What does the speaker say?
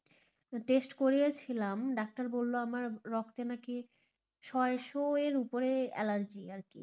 test করিয়েছিলাম ডাক্তার বলল আমার রক্তে নাকি ছয়শো এর উপরে অ্যালার্জি